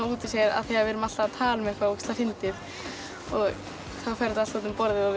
út úr sér af því við erum alltaf að tala um eitthvað ógeðslega fyndið þá fer þetta allt út um borðið og við